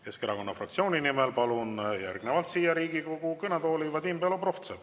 Keskerakonna fraktsiooni nimel palun järgnevalt siia Riigikogu kõnetooli Vadim Belobrovtsevi.